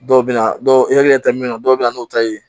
Dɔw bɛ na dɔw hakili ta min dɔw bɛ na n'u ta ye